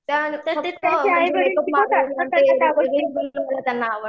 त्या